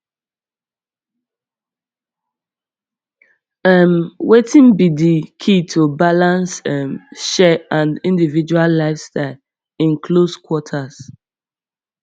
um wetin be di key to balance um share and individual lifestyles in close quarters